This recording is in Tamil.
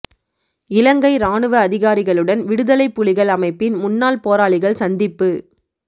இலங்கை ராணுவ அதிகாரிகளுடன் விடுதலைப் புலிகள் அமைப்பின் முன்னாள் போராளிகள் சந்திப்பு